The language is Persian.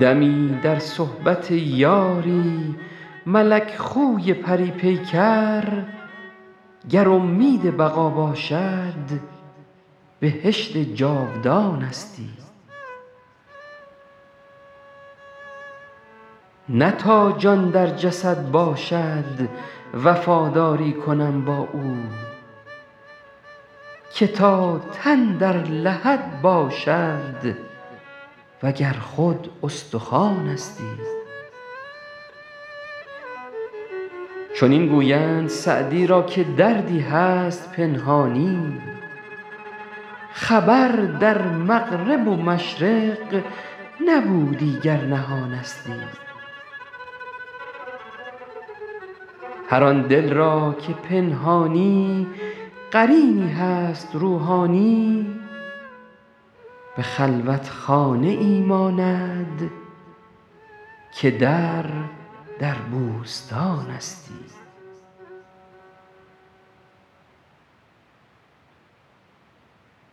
دمی در صحبت یاری ملک خوی پری پیکر گر امید بقا باشد بهشت جاودانستی نه تا جان در جسد باشد وفاداری کنم با او که تا تن در لحد باشد و گر خود استخوانستی چنین گویند سعدی را که دردی هست پنهانی خبر در مغرب و مشرق نبودی گر نهانستی هر آن دل را که پنهانی قرینی هست روحانی به خلوتخانه ای ماند که در در بوستانستی